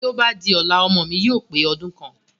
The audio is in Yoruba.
Bí ó bá di ọ̀la, ọmọ mi yóò pe ọdún kan